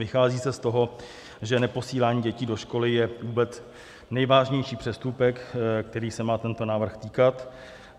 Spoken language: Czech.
Vychází se z toho, že neposílání dětí do školy je vůbec nejvážnější přestupek, kterého se má tento návrh týkat.